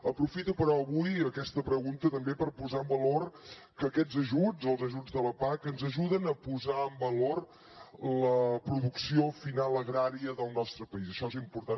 aprofito però avui aquesta pregunta també per posar en valor que aquests ajuts els ajuts de la pac ens ajuden a posar en valor la producció final agrària del nostre país això és important